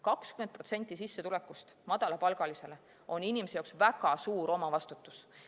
20% sissetulekust madalapalgalisele on inimese jaoks väga suur omavastutus.